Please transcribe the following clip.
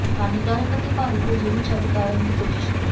ਹਾਨੀਕਾਰਕ ਅਤੇ ਭਾਰੀ ਭੋਜਨ ਨੂੰ ਛੱਡ ਕਰਨ ਦੀ ਕੋਸ਼ਿਸ਼ ਕਰੋ